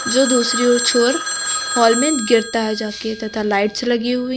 जो दूसरी ओर छोर हाल में गिरता है जाके तथा लाइट्स लगी हुई--